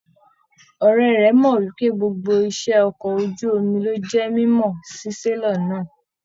Ọrẹ rẹ mọ wípé gbogbo iṣẹ ọkọ̀ ojú omi ló jẹ mímọ sí selọ̀ náà.